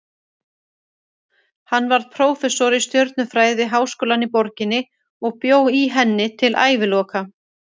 Hann varð prófessor í stjörnufræði við háskólann í borginni og bjó í henni til æviloka.